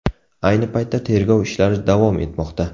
Ayni paytda tergov ishlari davom etmoqda.